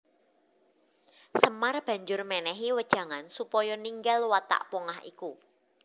Semar banjur mènèhi wejangan supaya ninggal watak pongah iku